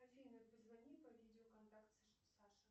афина позвони по видеоконтакту саша